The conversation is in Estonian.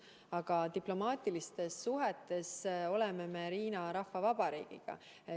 Aga diplomaatilistes suhetes oleme me Hiina Rahvavabariigiga.